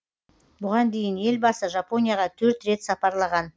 бұған дейін елбасы жапонияға төрт рет сапарлаған